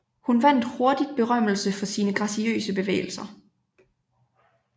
Hun vandt hurtigt berømmelse for sine graciøse bevægelser